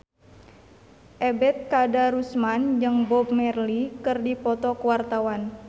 Ebet Kadarusman jeung Bob Marley keur dipoto ku wartawan